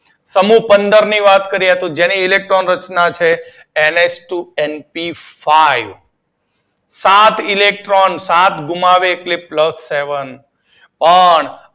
સમૂહ પંદર ની વાત કરીએ તો જેની ઇલેક્ટ્રોન રચના છે N H two N P five સાત ઇલેક્ટ્રોન. સાત ગુમાવે એટલે પ્લસ સેવન પણ